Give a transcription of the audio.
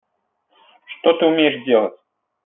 что ты умеешь делать